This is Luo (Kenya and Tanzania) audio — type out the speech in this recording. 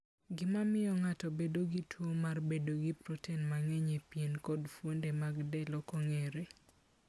Gima miyo ng'ato bedo gi tuwo mar bedo gi proten mang'eny e pien kod fuonde mag del ok ong'ere.